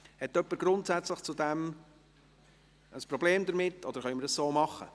Hat jemand grundsätzlich ein Problem damit, oder können wir so vorgehen?